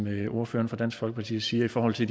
ordføreren for dansk folkeparti siger i forhold til